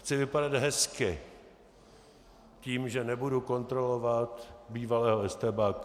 Chci vypadat hezky tím, že nebudu kontrolovat bývalého estébáka.